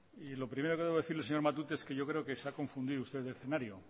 lo primero que debo decirle señor matute es que yo creo que se ha confundido usted de escenario